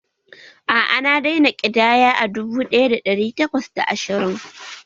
A'a, na daina ƙidaya a dubu ɗaya da ɗari takwas da ashirin